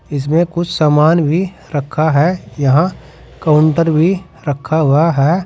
इसमें कुछ समान भी रखा है यहां काउंटर भी रखा हुआ है।